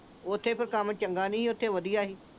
ਉਥੇ ਫਿਰ ਕੰਮ ਚੰਗਾ ਨਹੀਂ, ਇਥੇ ਵਧੀਆ ਸੀ।